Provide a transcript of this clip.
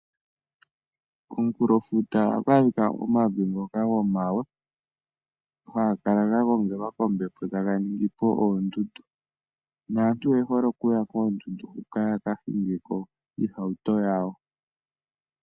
Komunkulofuta ohaku adhika omavi ngoka gomawe, haga kala ga gongelwa kombepo taga ningi po oondundu. Naantu oye hole okuya koondundu hoka ya ka hinge iihauto yawo.